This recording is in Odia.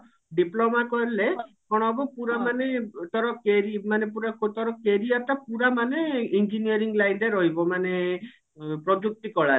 diploma କଲେ କଣ ହବ ପୁରା ମାନେ ତାର କ୍ୟାରୀ ମାନେ ତାର ପୁରା career ଟା ପୁରା ମାନେ engineering life ଟା ରହିବ ମାନେ ପ୍ରଯୁକ୍ତି କଳାରେ